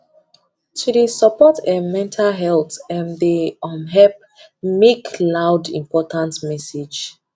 to dey support um mental health um dey um help make loud important message